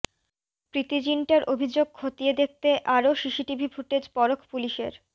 প্রীতি জিনটার অভিযোগ খতিয়ে দেখতে আরও সিসিটিভি ফুটেজ পরখ পুলিশের